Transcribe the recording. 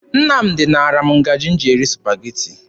Nnamdị naara m ngaji m ji eri Supageti.